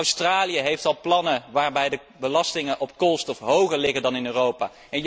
Australië heeft al plannen waarin de belastingen op koolstof hoger liggen dan in Europa.